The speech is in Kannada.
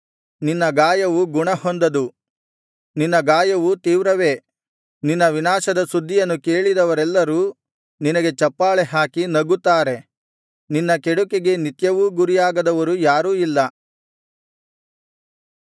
ನಿನ್ನ ಗಾಯವು ಗುಣಹೊಂದದು ನಿನ್ನ ಗಾಯವು ತೀವ್ರವೇ ನಿನ್ನ ವಿನಾಶದ ಸುದ್ದಿಯನ್ನು ಕೇಳಿದವರೆಲ್ಲರೂ ನಿನಗೆ ಚಪ್ಪಾಳೆ ಹಾಕಿ ನಗುತ್ತಾರೆ ನಿನ್ನ ಕೆಡುಕಿಗೆ ನಿತ್ಯವೂ ಗುರಿಯಾಗದವರು ಯಾರೂ ಇಲ್ಲ